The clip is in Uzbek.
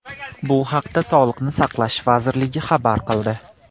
Bu haqda Sog‘liqni saqlash vazirligi xabar qildi .